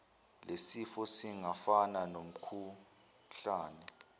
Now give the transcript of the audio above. lesifo singafana nomkhuhlane